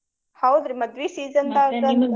ಹೌದ್ರಿ ಮದ್ವಿ season ದಾಗ .